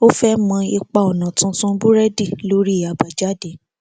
ó fẹ mọ ipa ònà tuntun búrédì lórí àbájáde